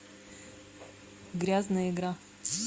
грязная игра